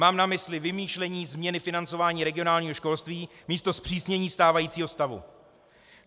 Mám na mysli vymýšlení změny financování regionálního školství místo zpřísnění stávajícího stavu.